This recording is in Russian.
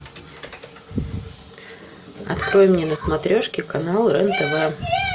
открой мне на смотрешке канал рен тв